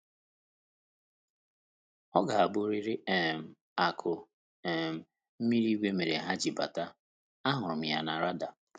Ọ ga abụriri um akụ um mmiri ígwé mere ha ji bata, a hụrụ m ya na "rada"